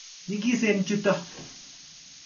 Nyigisen chutok.